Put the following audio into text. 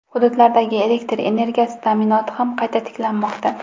Hududlardagi elektr energiyasi ta’minoti ham qayta tiklanmoqda.